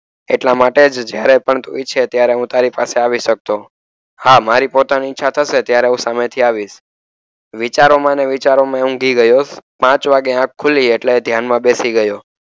એટલા માટે જ જ્યારે પણ તું ઈચ્છે ત્યારે હું તારી પાસે આવી શકતો. આ મારી પોતાની ઈચ્છા થશે ત્યારે હું સામેથી આવીશ. વિચારોમાં અને વિચારોમાં એ ઊંઘી ગયો. પાંચ વાગે આંખ ખુલી એટલે ધ્યાનમાં બેસી ગયો.